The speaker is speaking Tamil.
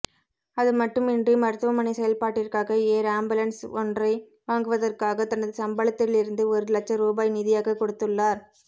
அதுமட்டுமின்றி மருத்துவமனை செயல்பாட்டிற்காக ஏர் ஆம்புலன்ஸ் ஒன்றை வாங்குவதற்காக தனது சம்பளத்திலிருந்து ஒரு லட்ச ரூபாய் நிதியாக கொடுத்துள்ளார்